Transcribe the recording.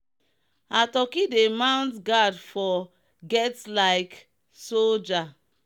her turkey dey mount guard for get like soldier.